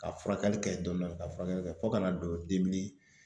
Ka furakɛli kɛ dɔɔni dɔɔni ka furakɛli fo kana don